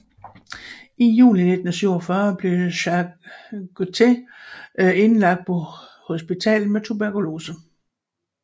I juli 1947 blev Jack Guthrie indlagt på hospitalet med tuberkulose